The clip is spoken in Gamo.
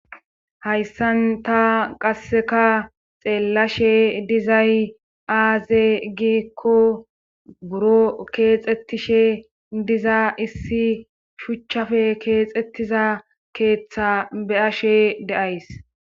hayssan ta qasseka xeellashe dizay aaze giikko buroo keexettishe diza issi shuchchafe keexettiza keeththa be7ashe de7ays.